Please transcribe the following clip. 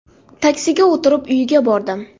Taksiga o‘tirib, uyiga bordim.